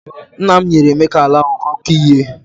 Nna m nyere Emeka ala ahụ ka ọ kọọ ihe.